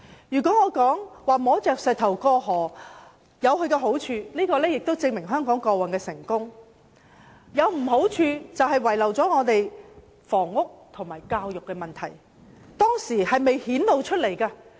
如果我說摸着石頭過河有好處，這便證明香港過往有成功之處，但壞處是前任政府把房屋和教育問題遺留下來。